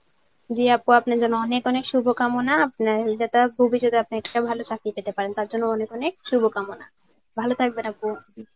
জি আপু আপনার জন্য অনেক অনেক শুভ কামনা, আপনার ভবিষ্যতে ভালো চাকরি পেতে পারেন তার জন্য অনেক অনেক শুভ কামনা, ভালো থাকবেন আপু.